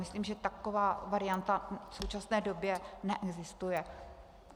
Myslím, že taková varianta v současné době neexistuje.